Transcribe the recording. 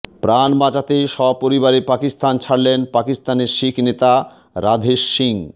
প্রাণ বাঁচাতে সপরিবারে পাকিস্তান ছাড়লেন পাকিস্তানের শিখ নেতা রাধেশ সিং